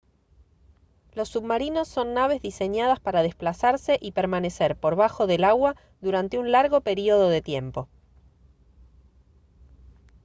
los submarinos son naves diseñadas para desplazarse y permanecer por bajo del agua durante un largo período de tiempo